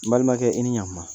N balimakɛ i ni ɲakuma